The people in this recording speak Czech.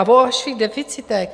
A o vašich deficitech.